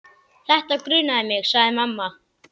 Þetta grunaði mig, sagði mamma.